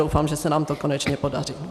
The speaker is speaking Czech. Doufám, že se nám to konečně podaří.